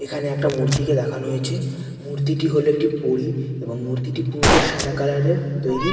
এখানে একটা মূর্তিকে দেখানো হয়েছে মূর্তিটি হলো একটি পরী এবং মূর্তিটি পুরোটা সাদা কালারের তৈরি।